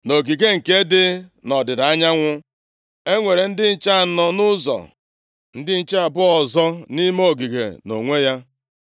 Nʼogige nke dị nʼọdịda anyanwụ e nwere ndị nche anọ nʼụzọ, ndị nche abụọ ọzọ nʼime ogige nʼonwe ya.